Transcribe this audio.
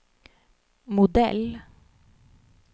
modell